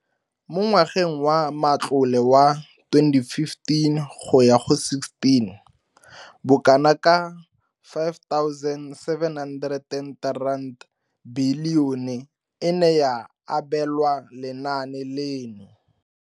Mo ngwageng wa matlole wa 2015 go ya go 16, bokanaka R5 703 bilione e ne ya abelwa lenaane leno.